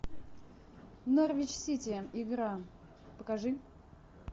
норвич сити игра покажи